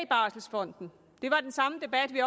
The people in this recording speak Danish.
barselfonden det var den samme debat vi